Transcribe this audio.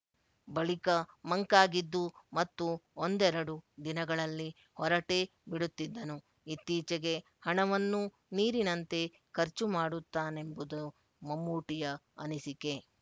ಬಳಿಕ ಮಂಕಾಗಿದ್ದು ಮತ್ತು ಒಂದೆರಡು ದಿನಗಳಲ್ಲಿ ಹೊರಟೇ ಬಿಡುತ್ತಿದ್ದನು ಇತ್ತೀಚೆಗೆ ಹಣವನ್ನೂ ನೀರಿನಂತೆ ಖರ್ಚು ಮಾಡುತ್ತಾನೆಂಬುದು ಮಮ್ಮೂಟಿಯ ಅನಿಸಿಕೆ